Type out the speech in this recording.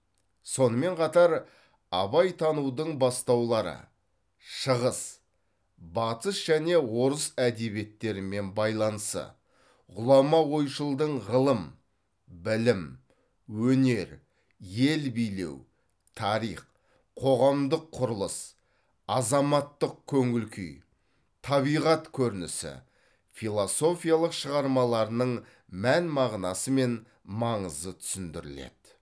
сонымен қатар абайтанудың бастаулары шығыс батыс және орыс әдебиеттерімен байланысы ғұлама ойшылдың ғылым білім өнер ел билеу тарих қоғамдық құрылыс азаматтық көңіл күй табиғат көрінісі философиялық шығармаларының мән мағынасы мен маңызы түсіндіріледі